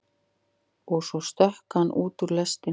Og svo stökk hann út úr lestinni.